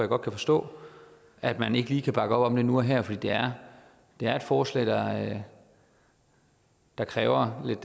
godt kan forstå at man ikke lige kan bakke op om det nu og her fordi det er et forslag der kræver lidt